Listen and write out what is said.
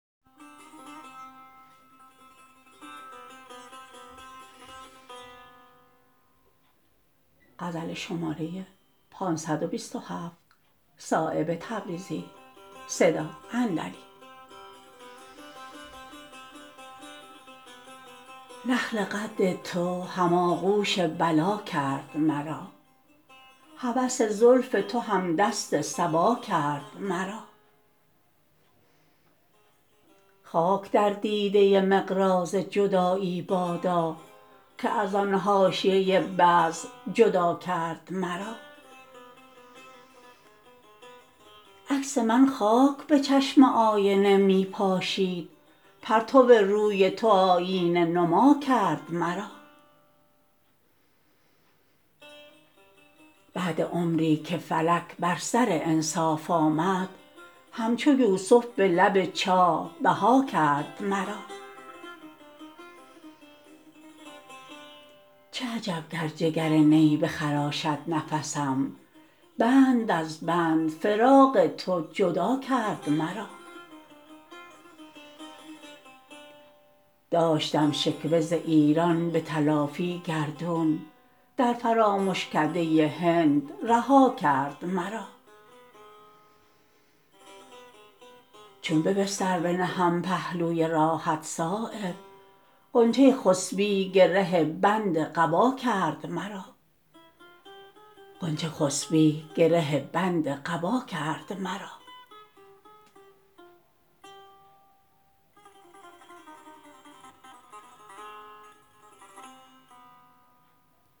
نخل قد تو هم آغوش بلا کرد مرا هوس زلف تو همدست صبا کرد مرا خاک در دیده مقراض جدایی بادا که ازان حاشیه بزم جدا کرد مرا عکس من خاک به چشم آینه را می پاشید پرتو روی تو آیینه نما کرد مرا بعد عمری که فلک بر سر انصاف آمد همچو یوسف به لب چاه بها کرد مرا چه عجب گر جگر نی بخراشد نفسم بند از بند فراق تو جدا کرد مرا داشتم شکوه ز ایران به تلافی گردون در فرامشکده هند رها کرد مرا چون به بستر بنهم پهلوی راحت صایب غنچه خسبی گره بند قبا کرد مرا